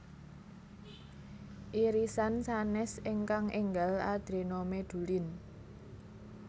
Irisan sanes ingkang enggal adrenomedulin